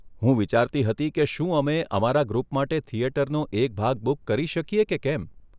હું વિચારતી હતી કે શું અમે અમારા ગ્રુપ માટે થિયેટરનો એક ભાગ બુક કરી શકીએ કે કેમ?